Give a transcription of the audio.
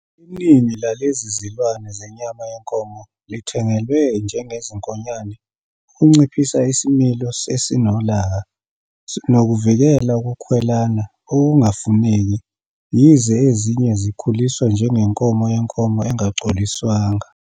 Iningi lalezi zilwane zenyama yenkomo lithengelwe njengezinkonyane ukunciphisa isimilo esinolaka nokuvikela ukukhwelana okungafuneki, yize ezinye zikhuliswa njengenkomo yenkomo engacoliswanga.